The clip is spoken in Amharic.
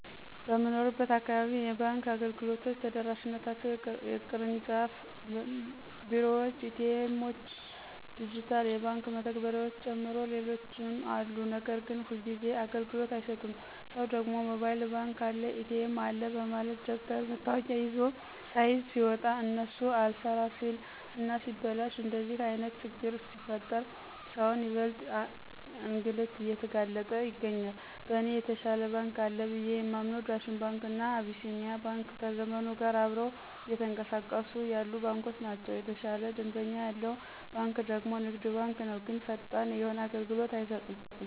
በምንኖርበት አካባቢ የባንክ አገልግሎቶች ተደራሽነታቸው የቅርጫፍ ቢሮዎች፣ ኤ.ቲ. ኤሞዎች፣ ድጅታል የባክ መተግበርያዎችን ጨምሮ ሌሎችም አሉ ነገር ግን ሁልጊዜ አገልግሎት አይሰጡም ሰው ደግሞ ሞባይል ባንክ አለ፣ ኤ.ቲ.ኤም አለ በማለት ደብተር መታወቂያ ስይዝ ሲወጣ እነሱ አልሰራ ሲል እና ሲበላሽ እንደዚህ አይነት ችግሮች ሲፈጠር ሰውን ይበልጥ እንግልት እየተጋለጠ ይገኛል። በእኔ የተሻለ ባንክ አለ ብየ የማምንው ዳሽን ባንክ እና አቢሲኒያ ባንክ ከዘመኑ ጋር አብረው እየተኅቀሳቀሱ ያሉ ባንኮች ናቸው። የተሻለ ደንበኛ ያለው ባንክ ደግሞ ንግድ ባንክ ነው ግን ፈጣን የሆነ አገልሎት አይሰጥም።